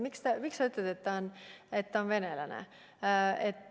Miks sa ütled, et ta on venelane?